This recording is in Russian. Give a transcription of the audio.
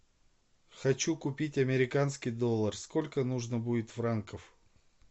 хочу купить американский доллар сколько нужно будет франков